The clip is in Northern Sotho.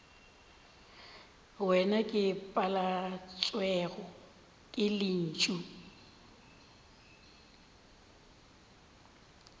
wena ke paletšwego ke lentšu